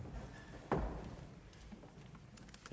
så